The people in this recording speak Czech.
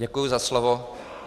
Děkuji za slovo.